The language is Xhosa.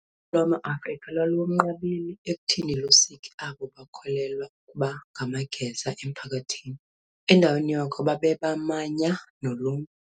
Uluntu lwamaAfrika lwalunqabile ekuthini lusike abo bakholelwa ukuba ngamageza emphakathini, endaweni yoko, babebamanya noluntu.